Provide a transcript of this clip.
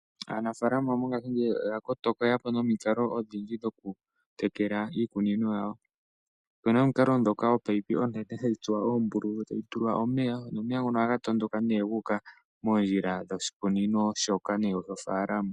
Aanafalama mo ngashingeyi oya kotoka oye yapo nomiikalo odhindji dhoku tekela iikunino yawo. Opena omiikalo dhoka opipe onene hayi tsuwa ombululu etayi tulwa omeya. Nomeya ngono ohaga tondoka ne gu uka mondjila dhosh ikunino shoka nenge dhofaalama.